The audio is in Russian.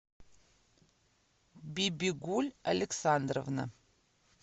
бибигуль александровна